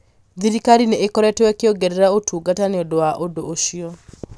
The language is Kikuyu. thirikari nĩ ĩkoretwo ĩkĩongerera ũtungata nĩ ũndũ wa ũndũ ũcio.